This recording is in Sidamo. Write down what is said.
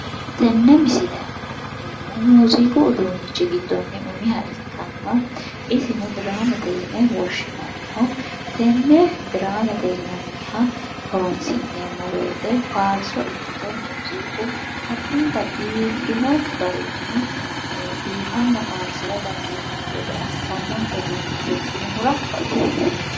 tenne misile aana la'neemmohu muziiqu uduunnichi giddo umiha ikkanna isino diraamete yine woshshinanniho tenne diraamete yinanniha horonsi'neemmo woyite farso ikkito muziiqu addinta biiffino garinni biifanna farsira dandiinee'mmo gede assannonke uduunnicho ikkinohura baxoomma.